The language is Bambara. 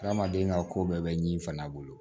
Adamaden ka ko bɛɛ bɛ ɲi fana bolo